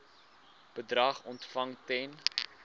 bedrag ontvang ten